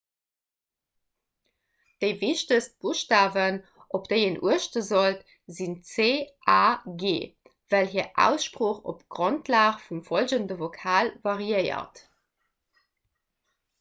déi wichtegst buschtawen op déi een uechte sollt sinn c a g well hir aussprooch op grondlag vum follgende vokal variéiert